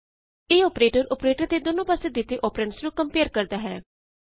ਇਹ operator operator ਦੇ ਦੋਨੋ ਪਾਸੇ ਤੇ ਦਿੱਤੇ ਅੋਪਰੈਂਡਸ ਨੂੰ ਕੰਪਏਅਰ ਕਰਦਾ ਹੈ